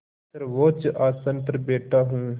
सर्वोच्च आसन पर बैठा हूँ